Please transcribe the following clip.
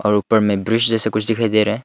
और ऊपर में ब्रिज जैसा कुछ दिखाई दे रहा है।